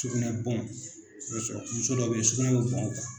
Sugunɛ bɔn i b'a sɔrɔ muso dɔw bɛ yen sugunɛ bɛ bɔ a kan.